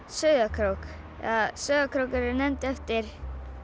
Sauðárkrók eða Sauðárkrókur er nefndur eftir